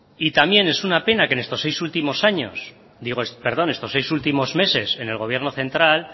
también es una pena que en estos seis últimos meses en el gobierno central